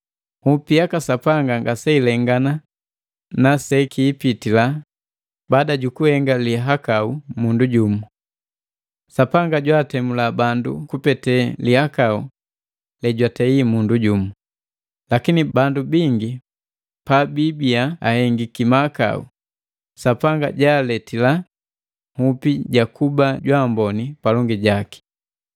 Nhupi yaka Sapanga ngaseilengana sekiipitila baada jukuhenga lihakau mundu jumu: Sapanga jwaatemula bundu kupete lihakau lejwatei mundu jumu, lakini bandu bingi pababiya ahengiki mahakau, Sapanga jaaletila nhupi jakuba jwaamboni palongi jaki.